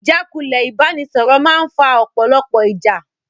Ìjákulẹ̀ ìbánisọ̀rọ̀ máa ń fa ọ̀pọ̀lọpọ̀ ìjà.